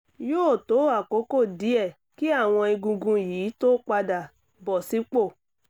yóò tó àkókò díẹ̀ kí àwọn egungun yìí tó padà bọ̀ sípò